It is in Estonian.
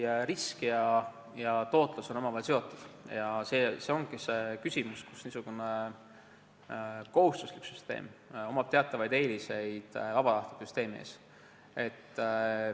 Jah, risk ja tootlus on enamasti omavahel seotud ja see ongi see küsimus, kus niisugune kohustuslik süsteem omab teatavaid eeliseid vabatahtliku süsteemi ees.